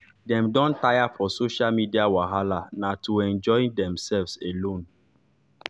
dem don tire for social media wahala na to enjoy demselves alone